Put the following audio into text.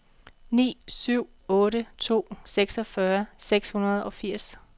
ni syv otte to seksogfyrre seks hundrede og firs